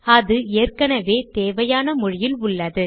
அது ஏற்கெனெவே தேவையான மொழியிலுள்ளது